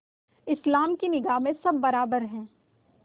इस्लाम की निगाह में सब बराबर हैं